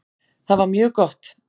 Það var mjög gott.